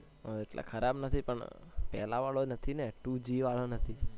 ઓ એટલા ખરાબ નથી પણ પહેલા વાળું નથી ને two g વાળો નથી